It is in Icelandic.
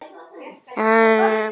Þessi bók verður ekki allra.